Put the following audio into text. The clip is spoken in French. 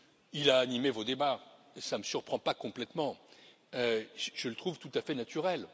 Il a animé vos débats et cela ne me surprend pas complètement, je le trouve tout à fait naturel.